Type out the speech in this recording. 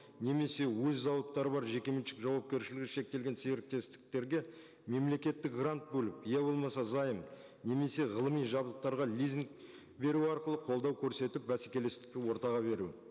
немесе өз зауыттары бар жекеменшік жауапкершілігі шектелген серіктестіктерге мемлекеттік грант бөлу я болмаса займ немесе ғылыми жабдықтарға лизинг беру арқылы қолдау көрсетіп бәсекелестікті ортаға беру